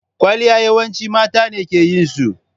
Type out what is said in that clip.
Kwaliya yawanci mata ne ke yin su.